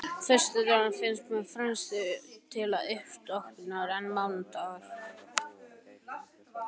Föstudagur finnst mér fremur dagur til uppstokkunar en mánudagur.